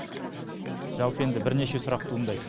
жалпы енді бірнеше сұрақ туындайды